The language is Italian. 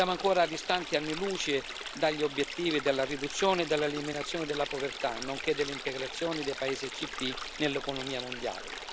Siamo ancora distanti anni luce dagli obiettivi della riduzione e dell'eliminazione della povertà, nonché dell'integrazione dei paesi ACP nell'economia mondiale.